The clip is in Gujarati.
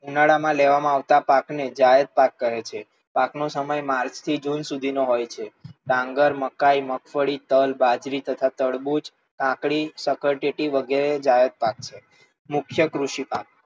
ઉનાળા માં લેવામાં આવતા પાક ને જાયદ પાક કહે છે. પાક નો સમય માર્ચ થી જૂન સુધી નો હોય છે. ડાંગર, મકાઇ, મગફળી, તલ, બાજરી તથા તરબૂચ, કાકડી, સક્કરટેટી વગેરે જાયદ પાક છે. મુખ્ય કૃષિ પાક,